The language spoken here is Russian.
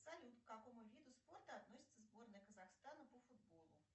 салют к какому виду спорта относится сборная казахстана по футболу